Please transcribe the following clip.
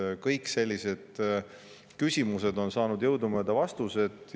Nii et kõik sellised küsimused on saanud jõudumööda vastused.